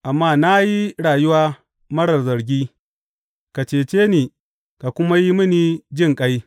Amma na yi rayuwa marar zargi; ka cece ni ka kuma yi mini jinƙai.